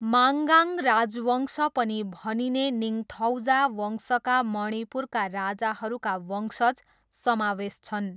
माङ्गाङ राजवंश पनि भनिने निङथौजा वंशमा मणिपुरका राजाहरूका वंशज समावेश छन्।